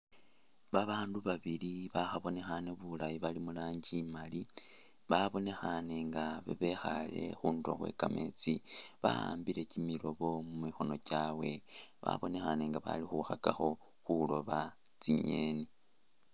Babaandu babili bakhabonekhaane bulaayi bali muranji imaali babonekhaane nga babekhaale khundulo khwe kameetsi bawambile kyimiloobo mumukhono kyawe babonekhane nga bali khukhakakho khulooba tsinyeni